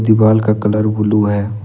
दीवाल का colour blue है।